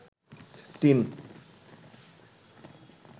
তিন